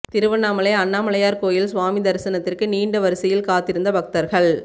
திருவண்ணாமலை அண்ணாமலையார் கோயிலில் சுவாமி தரிசனத்திற்கு நீண்ட வரிசையில் காத்திருந்த பக்தர்கள்